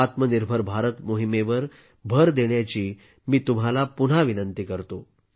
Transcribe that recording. आत्मनिर्भर भारत मोहिमेवर भर देण्याची मी तुम्हाला पुन्हा विनंती करतो